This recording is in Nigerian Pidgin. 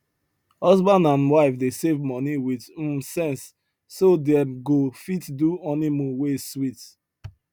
husband and wife dey save money with um sense so dem go fit do honeymoon wey sweet